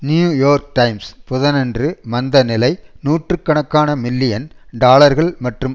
New York Times புதனன்று மந்த நிலை நூற்று கணக்கான மில்லியன் டாலர்கள் மற்றும்